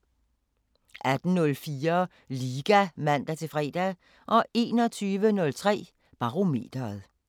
18:04: Liga (man-fre) 21:03: Barometeret